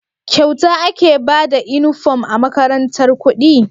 Kyauta ake Bada inufom a makarantar kudi